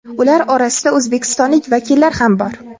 Ular orasida o‘zbekistonlik vakillar ham bor.